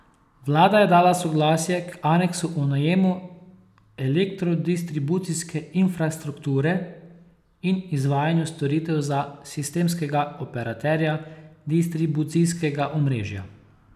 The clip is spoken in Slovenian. Vlada je dala soglasje k aneksu o najemu elektrodistribucijske infrastrukture in izvajanju storitev za sistemskega operaterja distribucijskega omrežja.